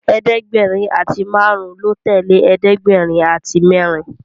ẹ̀ẹ́dẹ̀gbẹ̀rin àti márùn lọ tẹlẹ ẹ̀ẹ́dẹ̀gbẹ̀rin àti mérin